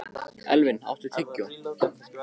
Elvin, áttu tyggjó?